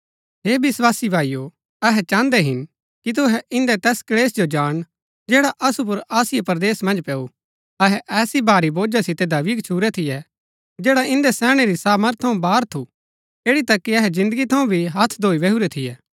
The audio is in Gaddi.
हे विस्वासी भाईओ अहै चाहन्दै हिन कि तुहै इन्दै तैस क्‍लेशा जो जानण जैडा असु पुर आसिया परदेस मन्ज पैऊ अहै ऐसै भारी बोझा सितै दबी गच्छुरै थियै जैडा इन्दै सैहणै री सामर्थ थऊँ बाहर थु ऐड़ी तक कि अहै जिन्दगी थऊँ भी हत्थ धोई बैहुरै थियै